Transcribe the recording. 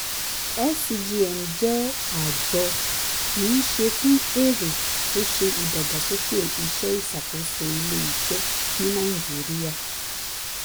scgn jẹ́ àjọ kì í ṣe fún èrè tó ṣe ìdàgbàsókè iṣẹ́ ìṣàkóso ilé-iṣẹ́ ní nàìjíríà.